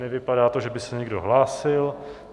Nevypadá to, že by se někdo hlásil.